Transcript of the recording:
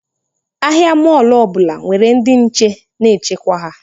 Ahịa mọlụ ọbụla nwere ndị nche na-echekwa ha